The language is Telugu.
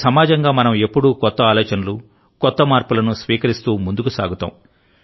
ఒక సమాజంగా మనం ఎప్పుడూ కొత్త ఆలోచనలు కొత్త మార్పులను స్వీకరిస్తూ ముందుకు సాగుతాం